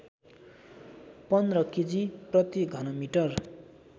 १५ KG प्रतिघनमिटर